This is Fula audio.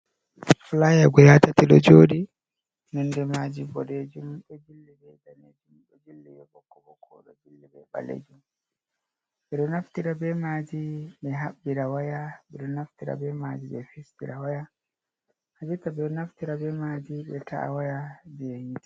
Flier guɗa tati ɗo joɗi, nonde maji boɗejum, ɗo jilli be danejum, ɗo jilli ɓokko ɓokko, ɗo jilli be ɓalejum, ɓe naftira be maji ɓe haɓɓira waya, ɓe ɗo naftira be maji ɓe fistira waya, ha jotta ɓe ɗo naftira be maji ɓe ta’a waya je hite.